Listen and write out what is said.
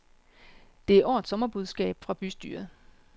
Det er årets sommerbudskab fra bystyret.